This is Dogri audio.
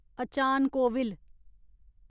अचान कोविल